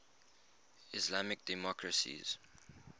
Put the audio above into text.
islamic democracies